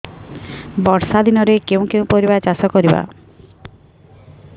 ବର୍ଷା ଦିନରେ କେଉଁ କେଉଁ ପରିବା ଚାଷ କରିବା